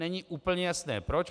Není úplně jasné proč.